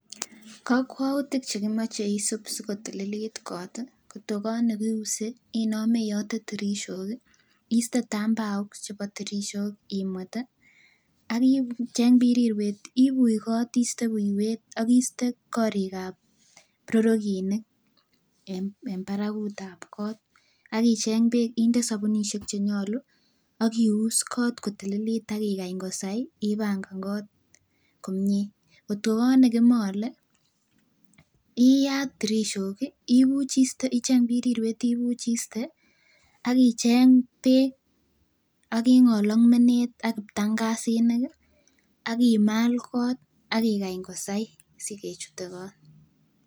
Kokwoutik chekimoche isiip asikotililit koot, kot ko koot nekiuse inome iyote tirishok iste tambaok chebo tirishok imwet ak icheng birirwet ibuch kot iste buiwet ak iste korikab brorokinik en barakutab koot, ak icheng beek inde sabunishek chenyolu ak ius kot kotililit ak ikany kosai ibang'an koot komnye, kot ko koot nekimole iyaat tirishok ibuch istee icheng birirwet ibuch istee ak icheng beek ak ingol ak beek ak kiptang'asinik ak imal koot ak kosai sikechute koot.